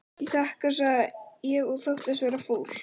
Ég þakka sagði ég og þóttist vera fúl.